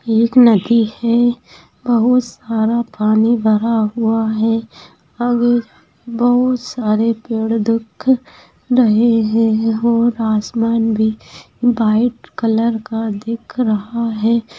ये एक नदी है बहुत सारा पानी भरा हुआ है अब बहुत सारे पेड़ दिख रहे है और आसमान भी व्हाइट कलर का का दिख रहा है।